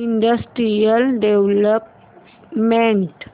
industrial development